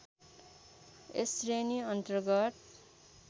यस श्रेणी अन्तर्गत